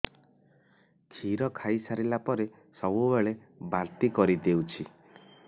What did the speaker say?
କ୍ଷୀର ଖାଇସାରିଲା ପରେ ସବୁବେଳେ ବାନ୍ତି କରିଦେଉଛି